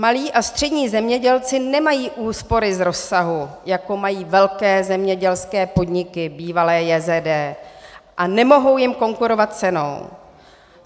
Malí a střední zemědělci nemají úspory z rozsahu, jako mají velké zemědělské podniky, bývalá JZD, a nemohou jim konkurovat cenou.